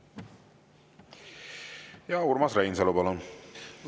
Urmas Reinsalu, palun!